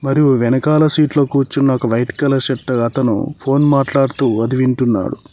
మరియు వెనకలా సీట్ లో కూర్చుకున్నా ఒక వైట్ కలర్ షర్ట్ ఫోన్ మాట్లాడుతూ అది వింటున్నాడు.